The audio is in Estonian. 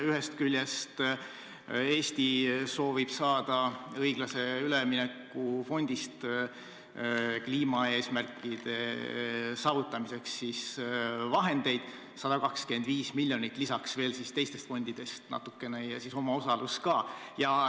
Ühest küljest soovib Eesti saada õiglase ülemineku fondist kliimaeesmärkide saavutamiseks 125 miljonit, lisaks veel teistest fondidest natukene ja siis omaosalus ka.